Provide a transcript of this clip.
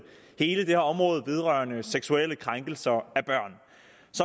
hele det her område vedrørende seksuelle krænkelser